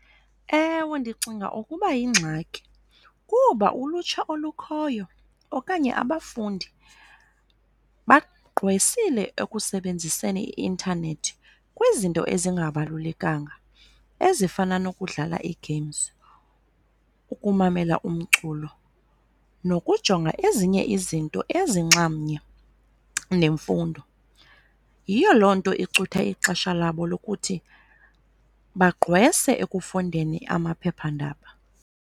Ewe, ndicinga ukuba yingxaki kuba ulutsha olukhoyo okanye abafundi bagqwesile ekusebenziseni i-intanethi kwizinto ezingabalulekanga ezifana nokudlala ii-games, ukumamela umculo, nokujonga ezinye izinto ezinxamnye nemfundo. Yiyo loo nto icutha ixesha labo lokuthi bagqwese ekufundeni amaphephandaba.